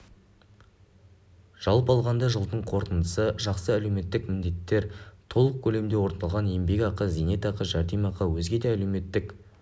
жалпы алғанда жылдың қорытындысы жақсы әлеуметтік міндеттер толық көлемде орындалған еңбекақы зейнетақы жәрдемақы өзге де әлеуметтік